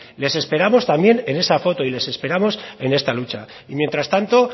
les esperamos también en esa foto y les esperamos en esta lucha y mientras tanto